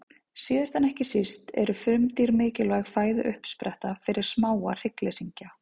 Síðast en ekki síst eru frumdýr mikilvæg fæðuuppspretta fyrir smáa hryggleysingja.